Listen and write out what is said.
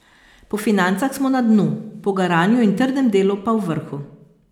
Po financah smo na dnu, po garanju in trdem delu pa v vrhu.